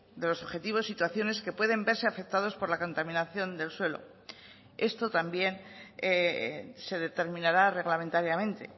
de los objetivos situaciones que pueden verse afectados por la contaminación del suelo esto también se determinará reglamentariamente